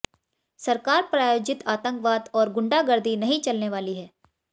सरकार प्रायोजित आतंकवाद और गुंडागर्दी नहीं चलने वाली है